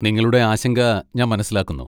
നിങ്ങളുടെ ആശങ്ക ഞാൻ മനസ്സിലാക്കുന്നു.